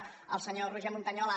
el senyor roger montañola